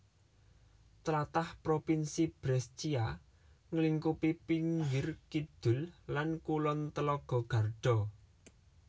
Tlatah Provinsi Brescia nglingkupi pinggir kidul lan kulon telaga Garda